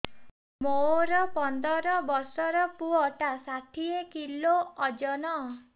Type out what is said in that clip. ମୋର ପନ୍ଦର ଵର୍ଷର ପୁଅ ଟା ଷାଠିଏ କିଲୋ ଅଜନ